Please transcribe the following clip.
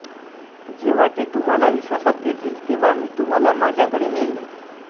जेव्हा ते तुम्हाला विश्वासात घेतील तेव्हा मी तुम्हाला माझ्याकडे नेईन